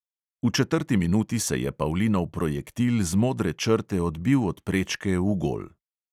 V četrti minuti se je pavlinov projektil z modre črte odbil od prečke v gol.